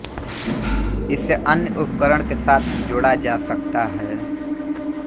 इसे अन्य उपकरण के साथ जोड़ा जा सकता है